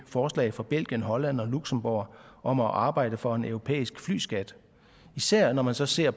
forslaget fra belgien holland og luxembourg om at arbejde for en europæisk flyskat især når man så ser